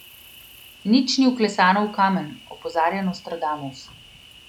Nič ni vklesano v kamen, opozarja Nostradamus.